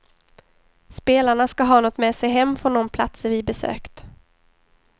Spelarna ska ha något med sig hem från de platser vi besökt.